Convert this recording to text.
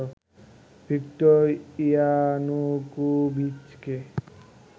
Victor ইয়ানুকোভিচকে